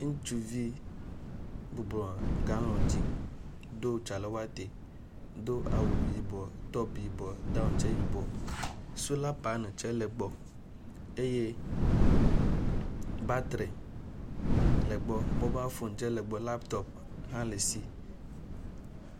Ŋutsuvi bɔbɔ nɔ galɔŋ dzi do tsalewɔte, do awu, yibɔ, tɔpu yibɔ, daŋ tsɛ yibɔ, sola paneli tsɛ le egbɔ eye batri le egbɔ. Mobafɔŋ tsɛ le egbɔ, lapitɔpi hã le esi.